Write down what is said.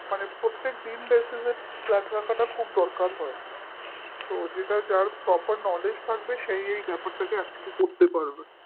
মানে পরত্যাক দিন basis এ track রাখাটা খুব দরকার হয় তবে যেটা যার proper knowledge থাকবে সেই এই ব্যাপারটাকে actually করতে পারবে